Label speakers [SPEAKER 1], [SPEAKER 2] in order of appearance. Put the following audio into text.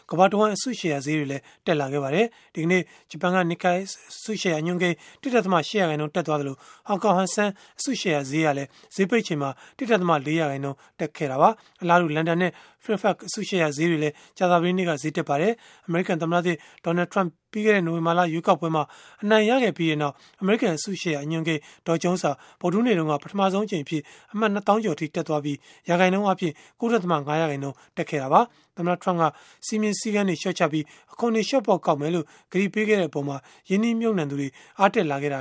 [SPEAKER 1] ကမ္ဘာ့အစုရှယ်ယာဈေးတွေ ကြာသပတေးနေ့က မြင့်တက်သွားခဲ့ပါတယ်။ ဒီကနေ့ ဂျပန် Nikkei အစုရှယ်ယာ အညွန်းကိန်း ၁.၈ ရာခိုင်နှုန်း တက်ခဲ့သလို၊ ဟောင်ကောင် Hang Seng အစုရှယ်ယာဈေးဟာလည်း ဈေးပိတ်ချိန်မှာ ၁.၄ ရာခိုင်နှုန်း တက်ခဲ့ပါတယ်။ အလားတူ လန်ဒန်နဲ့ Frankfurt အစုရှယ်ယာဈေးတွေလည်း ကြာသပတေးနေ့က ဈေးတက်ခဲ့တာပါ။ အမေရိကန် သမ္မတသစ် Donald Trump ပြီးခဲ့တဲ့နိုဝင်ဘာ ရွေးကောက်ပွဲမှာ အနိုင်ရပြီးချိန်ကစလို့ အမေရိကန် အစုရှယ်ယာအညွန်းကိန်း Dow Jones ဟာ ဗုဒ္ဓဟူးနေ့တုန်းက ပထမဆုံးအကြိမ် အမှတ် နှစ်သောင်းကျော်အထိ တက်သွားခဲ့ပြီး ရာခိုင်နှုန်းအားဖြင့် ၉.၅ ရာခိုင်နှုန်းတက်ပါတယ်။ သမ္မတ Trump က စည်းမျဉ်းစည်းကမ်းတွေ လျော့ချပြီး အခွန် လျော့ပေါ့ကောက်မယ်လို့ ကတိပေးခဲ့တဲ့အပေါ်မှာ ရင်းနှီးမြှုပ်နှံသူတွေ အားတ
[SPEAKER 2] က်လာခဲ့တာ